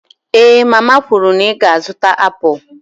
Èé mama kwuru na ị ga-azụta apụl